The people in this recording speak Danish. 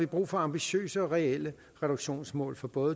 brug for ambitiøse og reelle reduktionsmål for både